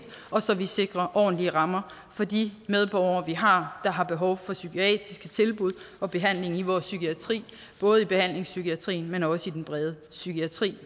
og så vi sikrer ordentlige rammer for de medborgere vi har der har behov for psykiatriske tilbud og behandling i vores psykiatri både i behandlingspsykiatrien men også i den brede psykiatri